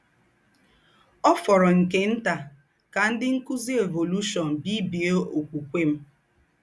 Ọ̀ fòrọ̀ nke ntà kà ńdị́ ńkùzì evolúshọ̀n bìbiè ọ̀kwúkwè m.